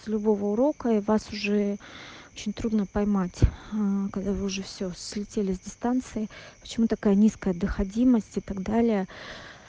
с любого урока и вас уже очень трудно поймать когда вы уже все слетели с дистанции почему такая низкая доходимость и так далее